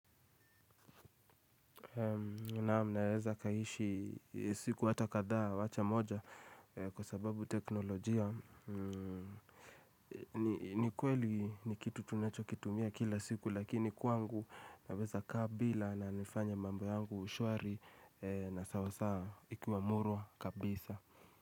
Naam, naweza kaishi siku hata kadhaa wacha moja kwa sababu teknolojia. Ni kweli ni kitu tunacho kitumia kila siku lakini kwangu naweza kaa bila na nifanye mambo yangu shwari na sawasawa ikiwa murwa kabisa.